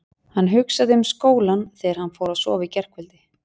Hann hugsaði um skólann þegar hann fór að sofa í gærkvöldi.